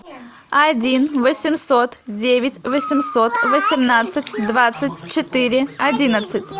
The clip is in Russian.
один восемьсот девять восемьсот восемнадцать двадцать четыре одиннадцать